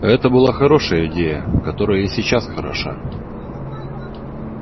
это была хорошая идея которая и сейчас хороша